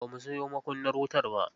Ba mu sayo makunnanr wutar ba.